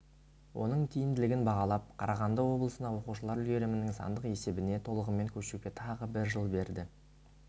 оның тиімділігін бағалап қарағанды облысына оқушылар үлгерімінің сандық есебіне толығымен көшуге тағы бір жыл берді